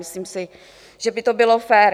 Myslím si, že by to bylo fér.